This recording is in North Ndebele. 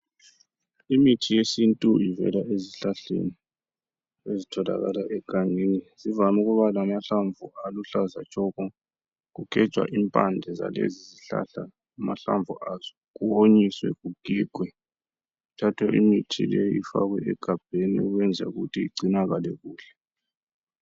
Imithi yesintu ivela ezihlahleni ezitholakala egangeni. Zivam' ukuba lamahlamvu aluhlaza tshoko. Kugejwa impande zalezi zihlahla, amahlamvu azo kuwonyiswe, kugigwe kuthathwe imithi leyi ifakwe egabheni ukwenzela ukuthi igcinakale kuhle.